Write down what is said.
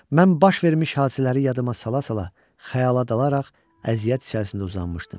Mən baş vermiş hadisələri yadıma sala-sala xəyala dalaraq əziyyət içərisində uzanmışdım.